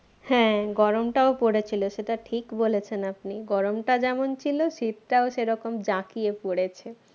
হ্যাঁ গরমটাও পড়েছিল সেটা ঠিক বলেছেন আপনি গরমটা যেমন ছিল শীতটাও সেরকম জাকিয়ে পড়েছে